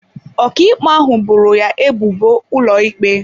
Ọkàikpe ahụ boro ya ebubo ụlọikpe.